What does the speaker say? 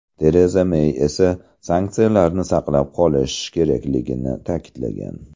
Tereza Mey esa sanksiyalarni saqlab qolish kerakligini ta’kidlagan.